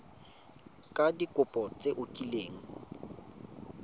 ka dikopo tse o kileng